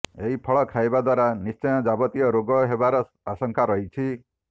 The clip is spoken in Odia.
ଏହି ଫଳ ଖାଇବା ଦ୍ୱାରା ନିଶ୍ଚୟ ଯାବତୀୟ ରୋଗ ହେବାର ଆଶଙ୍କା ରହିଛି